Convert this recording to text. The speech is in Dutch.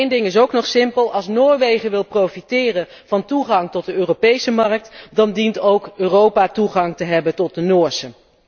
Eén ding is ook nog simpel als Noorwegen wil profiteren van toegang tot de Europese markt, dan dient ook Europa toegang te hebben tot de Noorse.